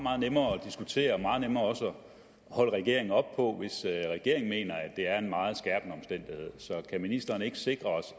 meget nemmere at diskutere og meget nemmere også at holde regeringen op på hvis regeringen mener at det er en meget skærpende omstændighed så kan ministeren ikke sikre os